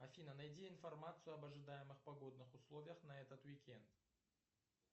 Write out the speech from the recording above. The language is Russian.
афина найди информацию об ожидаемых погодных условиях на этот уикенд